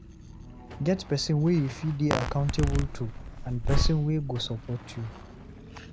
Get persin wey you fit de accountable to and person wey go support you